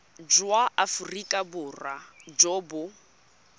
jwa aforika borwa jo bo